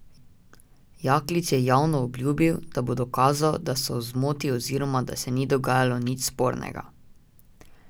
Jaklič je javno obljubil, da bo dokazal, da so v zmoti oziroma da se ni dogajalo nič spornega.